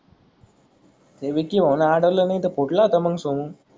ते विक्की भाऊन आळवल नाही त कुटला होता मंग सोमू.